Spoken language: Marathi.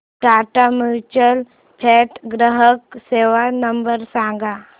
टाटा म्युच्युअल फंड ग्राहक सेवा नंबर सांगा